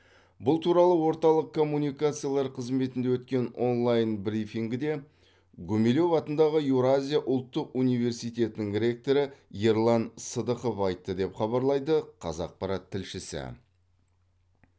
бұл туралы орталық коммуникациялар қызметінде өткен онлайн брифингіде гумилев атындағы еуразия ұлттық университетінің ректоры ерлан сыдықов айтты деп хабарлайды қазақпарат тілшісі